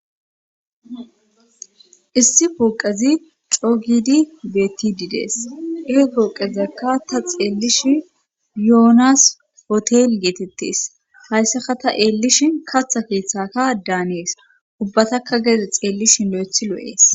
issi pooqezi coogidi beettididees ee pooqezakka ta xeellish yoonas potel geetettes hayssaka ta eellishi katha keeththaka daanees ubbataka geeze xeellishi lo7ethi loo7ees